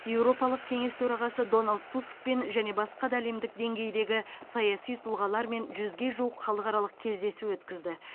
еуропалық кеңес төрағасы доналд тускпен және басқа да әлемдік деңгейдегі саяси тұлғалармен жүзге жуық халықаралық кездесу өткізді